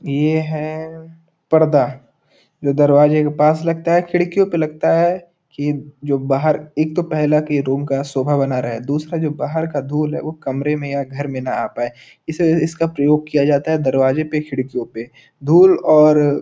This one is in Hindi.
यह है परदा जो दरवाजे के पास लगता है खिडकियों पे लगता है कि जो बहार ईक तो पहला के रूम का सोभा बना रहा है। दूसरा जो बहार का धुल है वो कमरे में या घर में ना आ पाए इसलिए इसका प्रयोग किया जाता है दरवाजो पे खिडकियों पे धुल और --